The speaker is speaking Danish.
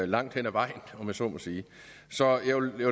langt hen ad vejen om jeg så må sige så jeg vil